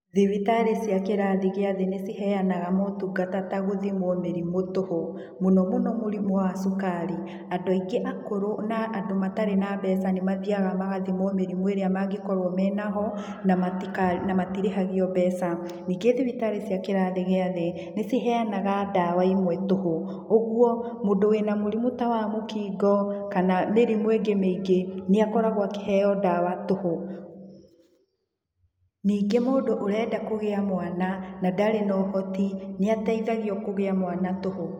Thibitarĩ cia kĩrathi gĩa thĩ nĩciheanaga motungata ta gũthimwo mĩrimũ tũhũ, mũno mũno mũrimũ wa cukari. Andũ aingĩ akũrũ na andũ matarĩ na mbeca nĩ mathiaga magathimwo mĩrimũ ĩrĩa mangĩkorwo menaho, na na matirĩhagio mbeca. Nĩngĩ thibitarĩ cia kĩrathi gĩa thĩ, nĩ ciheanaga ndawa imwe tũhũ, ũguo mũndũ wĩna mũrimũ ta wa mũkingo kana mĩrimũ ĩngĩ mĩingĩ, nĩakoragwo akĩheo ndawa tũhũ. Ningĩ mũndũ ũrenda kũgĩa mwana na ndarĩ na ũhoti nĩateithagio kũgĩa mwana tũhũ.